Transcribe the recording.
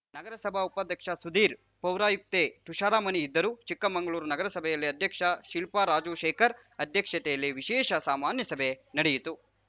ನಗರಸಭಾ ಉಪಾಧ್ಯಕ್ಷ ಸುಧೀರ್‌ ಪೌರಾಯುಕ್ತೆ ತುಷಾರಮಣಿ ಇದ್ದರು ಚಿಕ್ಕಮಂಗಳೂರು ನಗರಸಭೆಯಲ್ಲಿ ಅಧ್ಯಕ್ಷೆ ಶಿಲ್ಪಾ ರಾಜಶೇಖರ್‌ ಅಧ್ಯಕ್ಷತೆಯಲ್ಲಿ ವಿಶೇಷ ಸಾಮಾನ್ಯಸಭೆ ನಡೆಯಿತು